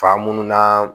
Fa munnu na